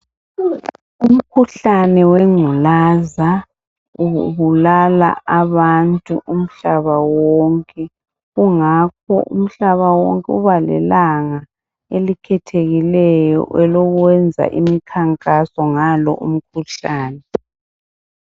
Umkhuhlane wengculaza ubulala abantu umhlaba wonke .Kungakho umhlaba wonke ubalelanga elikhethekileyo elokwenza imkhankaso ngalo umkhuhlane .